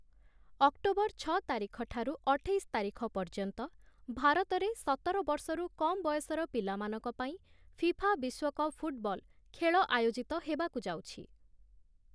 October ଛଅ ତାରିଖଠାରୁ ଅଠେଇଶ ତାରିଖ ପର୍ଯ୍ୟନ୍ତ ଭାରତରେ ସତର ବର୍ଷରୁ କମ୍ ବୟସର ପିଲାମାନଙ୍କ ପାଇଁ ଫିଫା ବିଶ୍ୱକପ ଫୁଟବଲ ଖେଳ ଆୟୋଜିତ ହେବାକୁ ଯାଉଛି ।